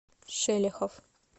шелехов